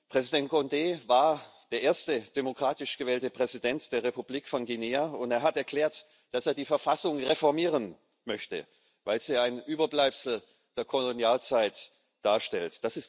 Präsident Condé war der erste demokratisch gewählte Präsident der Republik von Guinea, und er hat erklärt, dass er die Verfassung reformieren möchte, weil sie ein Überbleibsel der Kolonialzeit darstellt.